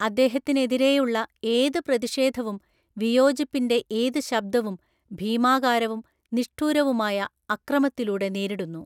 അദ്ദേഹത്തിനെതിരെയുള്ള ഏത് പ്രതിഷേധവും, വിയോജിപ്പിൻ്റെ ഏത് ശബ്ദവും, ഭീമാകാരവും നിഷ്ഠുരവുമായ അക്രമത്തിലൂടെ നേരിടുന്നു.